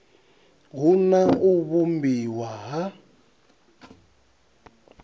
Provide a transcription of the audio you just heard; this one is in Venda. hu na u vhumbiwa ha